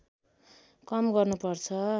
कम गर्नुपर्छ